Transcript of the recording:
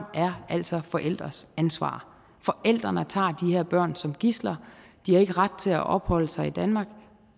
altså er forældres ansvar forældrene tager de her børn som gidsler de har ikke ret til at opholde sig i danmark